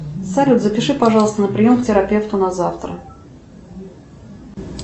салют запиши пожалуйста на прием к терапевту на завтра